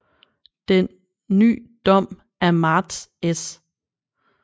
Den ny Dom af Marts s